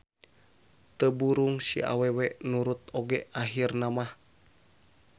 Teu burung si awewe nurut oge ahirna mah.